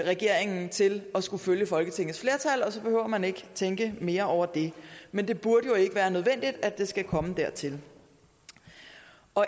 regeringen til at skulle følge folketingets flertal og så behøver man ikke tænke mere over det men det burde jo ikke være nødvendigt at det skal komme dertil